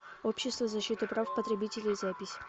общество защиты прав потребителей запись